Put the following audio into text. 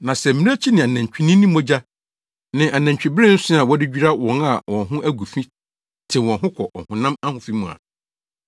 Na sɛ mmirekyi ne anantwinini mogya ne anantwibere nsõ a wɔde dwira wɔn a wɔn ho agu fi tew wɔn ho kɔ ɔhonam ahofi mu a,